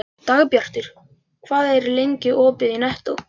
Dagbjartur, hvað er lengi opið í Nettó?